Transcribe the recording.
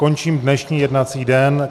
Končím dnešní jednací den.